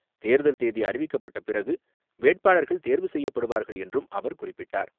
தேர்தல் தேதி அறிவிக்கப்பட்ட பிறகு வேட்பாளர்கள் தேர்வு செய்யப்படுவார்கள் என்றும் அவர் குறிப்பிட்டார்.